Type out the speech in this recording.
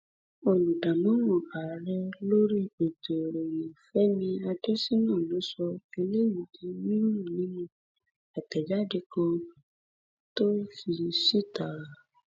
olùdámọràn ààrẹ lórí ètò ìròyìn fẹmi adésínà ló sọ eléyìí di mímọ nínú àtẹjáde kan tó fi síta